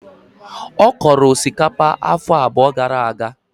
Ọ kọrọ osikapa afọ abụọ gara aga.